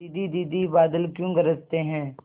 दीदी दीदी बादल क्यों गरजते हैं